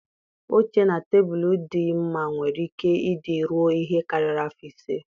Oche na tebụl dị mma nwere ike ị dị ruọ ihe karịrị afọ ise.